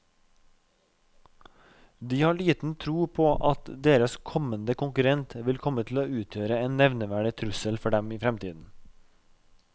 De har liten tro på at deres kommende konkurrent vil komme til å utgjøre en nevneverdig trussel for dem i fremtiden.